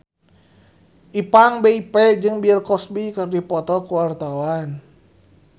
Ipank BIP jeung Bill Cosby keur dipoto ku wartawan